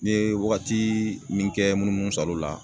N ye wagati min kɛ munumunu salo la